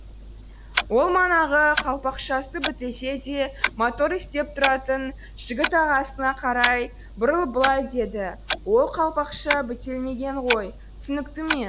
ол манағы қалпақшасы бітелсе де моторы істеп тұратын жігіт ағасына қарай бұрылып былай деді ол қалпақша бітелмеген ғой түсінікті ме